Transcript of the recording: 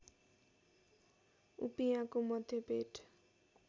उपियाँको मध्य पेट